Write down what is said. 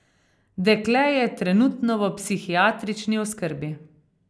Dekle je trenutno v psihiatrični oskrbi.